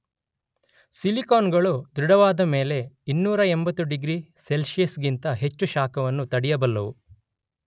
ಸಿಲಿಕೋನುಗಳು ದೃಢವಾದಮೇಲೆ 280 ಡಿಗ್ರಿ ಸೆಲ್ಸಿಯಸಿಗಿಂತ ಹೆಚ್ಚು ಶಾಖವನ್ನು ತಡೆಯಬಲ್ಲುವು.